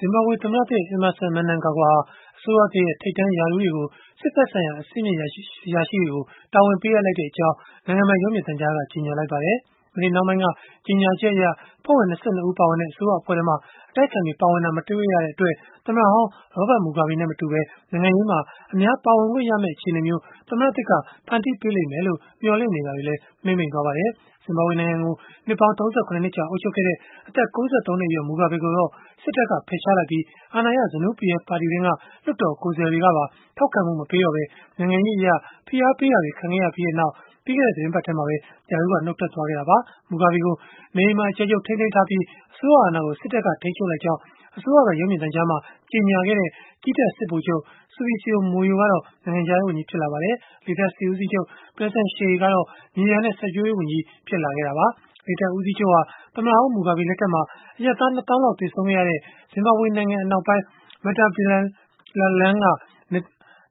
ဇင်ဘာဘွေသမ္မတသစ် Emmerson Mnangagwa ဟာ အစိုးရသစ်ရဲ့ ထိပ်တန်းရာထူးတွေကို စစ်ဘက်ဆိုင်ရာ အဆင့်မြင့် အရာရှိတွေကို တာဝန်ပေးအပ်လိုက်ကြောင်း နိုင်ငံပိုင်ရုပ်မြင်သံကြားက ကြေညာလိုက်ပါတယ်။ မနေ့နှောင်းပိုင်းက ကြေညာချက်အရ အဖွဲ့ဝင် ၂၂ ဦး ပါဝင်တဲ့ အစိုးရအဖွဲ့ထဲမှာ အတိုက်အခံတွေ ပါဝင်တာ မတွေ့ရတဲ့အတွက်၊ သမ္မတဟောင်း Robert Mugabe နဲ့ မတူဘဲ နိုင်ငံရေးမှာ အများပါဝင်ခွင့်ရမယ့် အခြေအနေမျိုး သမ္မတသစ်က ဖန်တီးပေးလိမ့်မယ်လို့ မျှော်လင့်နေတာတွေလည်း မှေးမှိန်သွားပါတယ်။ ဇင်ဘာဘွေ နိုင်ငံကို နှစ်ပေါင်း ၃၇ နှစ်ကြာ အုပ်ချုပ်ခဲ့တဲ့ အသက် ၉၃ နှစ်အရွယ် Mugabe ကိုတော့ စစ်တပ်က ဖယ်ရှားလိုက်ပြီး၊ အာဏာရ ZANU-PF ပါတီတွင်းက လွှတ်တော်ကိုယ်စားလှယ်တွေကပါ ထောက်ခံမှု မပေးတော့ပဲ နိုင်ငံရေးအရ ဖိအားပေးတာတွေ ခံခဲ့ရပြီးနောက် ပြီးခဲ့တဲ့ သီတင်းပတ်ထဲမှာပဲ ရာထူးကနေ နှတ်ထွက်သွားခဲ့တာပါ။ Mugabe ကို နေအိမ်မှာအကျယ်ချုပ် ထိန်းသိမ်းထားပြီး၊ အစိုးရအာဏာကို စစ်တပ်က ထိန်းချုပ်လိုက်ကြောင်း အစိုးရပိုင် ရုပ်မြင်သံကြားမှာ ကြေညာခဲ့တဲ့ ကြည်းတပ်က စစ်ဗိုလ်ချုပ် Sibusio Moyo ကတော့ နိုင်ငံခြားရေးဝန်ကြီး ဖြစ်လာပါတယ်။ လေတပ်စစ်ဦးစီးချုပ် Perence Shiri ကတော့ မြေယာနဲ့ စိုက်ပျိုးရေးဝန်ကြီး ဖြစ်လာခဲ့တာပါ။ လေတပ်ဦးစီးချုပ်ဟာ သမ္မတဟောင်း Mugabe လက်ထက်မှာ အရပ်သား ၂ သောင်းလောက် သေဆုံးခဲ့ရတဲ့ ဇင်ဘာဘွေနိုင်ငံ အနောက်ပိုင်း Matabeleland က